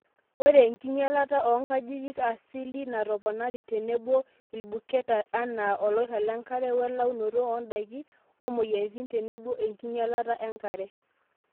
Ore enkinyalata oo nkajijik asili natoponari tenebo ilbuketa anaa oloirag lenkare welaunoto ondaiki omoyiaritin tenebo enkinyalata enkare.